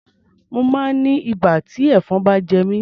Mo máa ń ní ibà tí ẹ̀fọn bá jẹ mí.